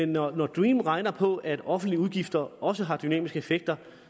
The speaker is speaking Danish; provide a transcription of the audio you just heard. når dream regner på at offentlige udgifter også har dynamiske effekter